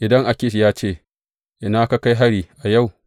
Idan Akish ya ce, Ina ka kai hari yau?